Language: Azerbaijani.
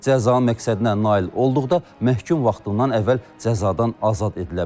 Cəza məqsədinə nail olduqda məhkum vaxtından əvvəl cəzadan azad edilə bilər.